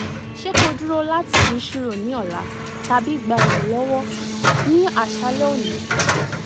se ki oduro lati ri chiro ni ola tabi gba iranlowo ni asale oni